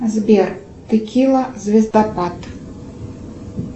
сбер текила звездопад